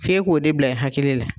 F'e k'o de bila i hakili la.